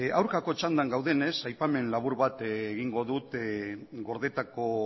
aurkako txanda gaudenez aipamen labur bat egingo dut gordetako